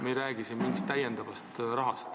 Me ei räägi siin mingist täiendavast summast.